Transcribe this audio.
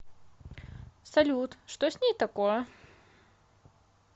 салют что с ней такое